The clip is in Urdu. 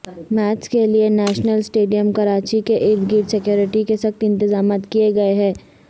میچز کے لیے نیشنل سٹیڈیم کراچی کے اردگرد سکیورٹی کے سخت انتظامات کیے گئے ہیں